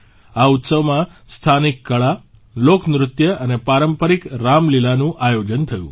આ ઉત્સવમાં સ્થાનિક કળા લોકનૃત્ય અને પારંપરિક રામલીલાનું આયોજન થયું